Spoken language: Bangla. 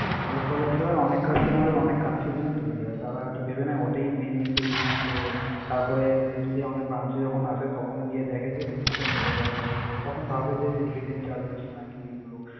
এর ফলে কি হয় অনেক customer এর অনেক confusion তৈরি হয়। তাঁরা আরকি ভেবে নেয় ওটাই main premium তো, তারপরে আহ যদি আমাদের branch এ যখন আসে তখন গিয়ে দেখে যে জিনিসটা বেড়ে গেলো হুট করে। তখন ভাবে যে head in charges নাকি এগুলো?